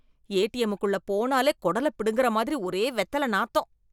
ஏடிஎம்முக்குள போனாலே கொடலப் புடுங்குற மாதிரி ஒரே வெத்தல நாத்தம்.